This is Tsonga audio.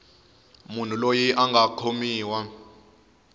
munhu loyi a nga khomiwa